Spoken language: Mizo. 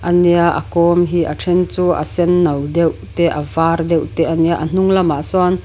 a nia a kawm hi a then chu a sen no deuh te a var deuh te a nia a hnung lamah sawn--